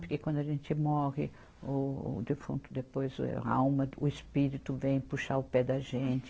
Porque quando a gente morre, o defunto, depois o, a alma, o espírito vem puxar o pé da gente.